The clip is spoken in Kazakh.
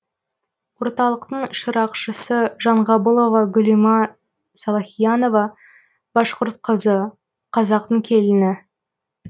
орталықтың шырақшысы жанғабылова гүлима салахиянова башқұрт қызы қазақтың келіні